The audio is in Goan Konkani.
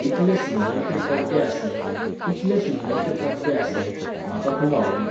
इतले सुंदर ते पड्डे आसले, इतले सुंदर ते पड्डे आसले, म्हाका खूब आवडले.